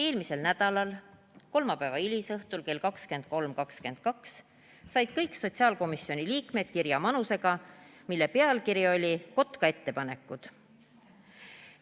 Eelmisel nädalal, kolmapäeva hilisõhtul kell 23.22 said kõik sotsiaalkomisjoni liikmed kirja manusega, mille pealkiri oli "Kotka ettepanekud".